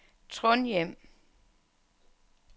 Trondhjem